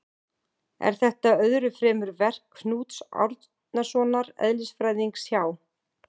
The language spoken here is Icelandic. Er þetta öðru fremur verk Knúts Árnasonar eðlisfræðings hjá